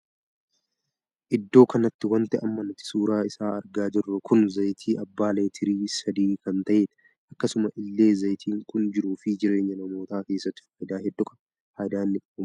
Iddoo kanatti wanti amma nuti suuraa isaa argaa jirru kun zayitii abbaa leetirii sadii kan tahedha. akkasuma illee zayitiin kun jiruu fi jireenya namoota keessatti faayidaa hedduu qaba. faayidaa inni qabu maalidha?